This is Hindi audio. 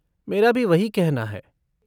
मेरा भी वही कहना है।